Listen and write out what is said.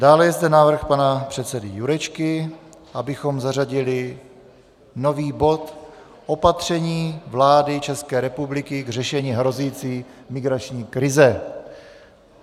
Dále je zde návrh pana předsedy Jurečky, abychom zařadili nový bod Opatření vlády České republiky k řešení hrozící migrační krize.